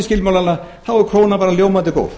skilmálana er krónan bara ljómandi góð